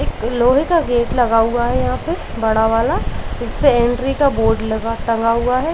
एक लोहे का गेट लगा हुआ है यहाँ पे बड़ा वाला। इसपे एंट्री का बोर्ड लगा टंगा हुआ है।